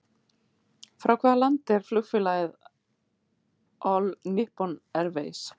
Frá hvaða landi er flugfélagið All Nippon Airways?